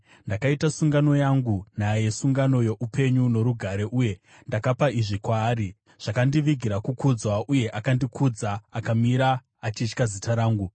“Ndakaita sungano yangu naye, sungano youpenyu norugare, uye ndakapa izvi kwaari; zvakandivigira kukudzwa uye akandikudza, akamira achitya zita rangu.